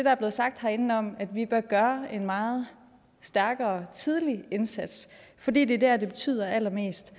er blevet sagt herinde om at vi bør gøre en meget stærkere tidlig indsats fordi det er der det betyder allermest